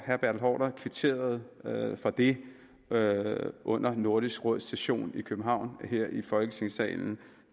herre bertel haarder kvitterede for det under nordisk råds session i københavn her i folketingssalen